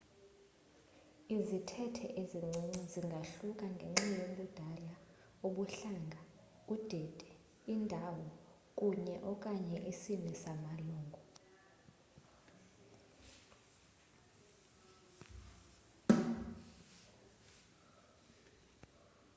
izithethe ezincinci zingahluka ngenxa yobudala ubuhlanga udidi indawo kunye / okanye isini samalungu